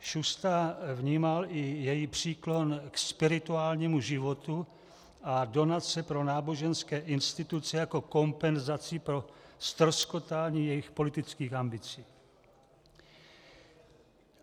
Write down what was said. Šusta vnímal i její příklon k spirituálnímu životu a donace pro náboženské instituce jako kompenzaci pro ztroskotání jejích politických ambicí.